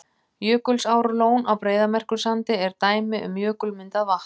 Jökulsárlón á Breiðamerkursandi er dæmi um jökulmyndað vatn.